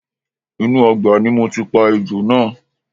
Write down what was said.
Inú ọgbà ni mo ti pa ejò náà